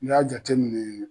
N'i y'a jate minɛ